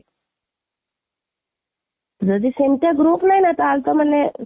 ଯଦି ସେମିତିଆ group ନାହିଁନା ତାହେଲେ ତ ମାନେ ଅ